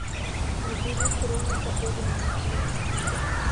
набери хроника огненных лет